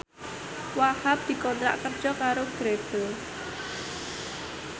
Wahhab dikontrak kerja karo Grebel